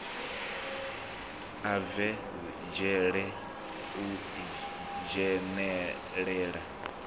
a bve dzhele u dzhenelela